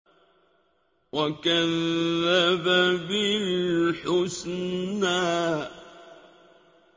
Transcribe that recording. وَكَذَّبَ بِالْحُسْنَىٰ